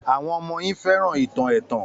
Àwọn ọmọ yín fẹ́ràn ìtàn ẹ̀tàn